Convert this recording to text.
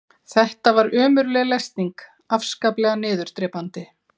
Þetta var ömurleg lesning, afskaplega niðurdrepandi.